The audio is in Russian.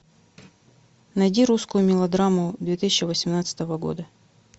найди русскую мелодраму две тысячи восемнадцатого года